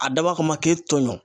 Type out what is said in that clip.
A dabɔ a kama k'e toɲɔ